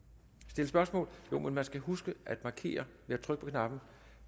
stille spørgsmål man skal huske at markere ved at trykke på knappen